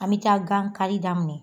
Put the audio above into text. An mi taa gan kari daminɛ